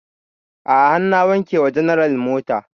A'a har na wanke wa general mota